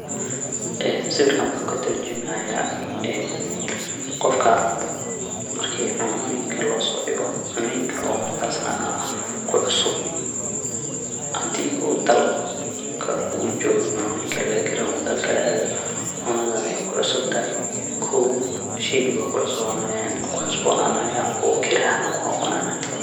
Sawirkan wuxu katurmujaya een qofka marki cunoyinka losodigo cunoyinka marka oo kucusub hadii uu dalkaga uu jogo cunoyinka lagakariyo uu dal kale aado cuntada ey kucusub tahay kow sheyga aya kucusubonanaya oo kira ahaan kunoqonaya.